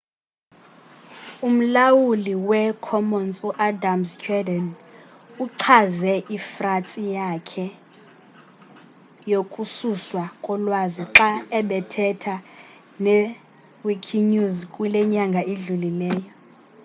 umlawulu wee-commons u-adam cuerden uchaze ifratsi yakhe yokususwa kolwazi xa ebethetha ne-wikinews kule nyanga idlulileyo